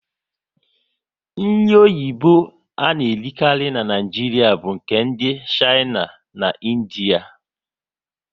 Nri oyibo a na erikari n'Naijiria bu nke ndị Shaina na Indiea